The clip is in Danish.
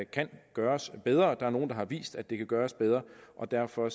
kan gøres bedre der er nogle der har vist at det kan gøres bedre og derfor